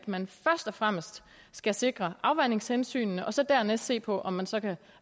at man først og fremmest skal sikre afvandingshensynene og så dernæst se på om man så